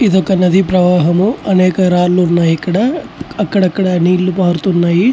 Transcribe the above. ఇది ఒక నది ప్రవాహము. అనేక రాళ్లు ఉన్నాయ్. ఇక్కడ అక్కడక్కడా నీళ్లు పారుతున్నాయి.